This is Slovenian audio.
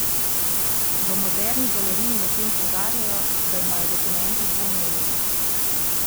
V Moderni galeriji medtem poudarjajo, da imajo dokumenti dvojno vlogo.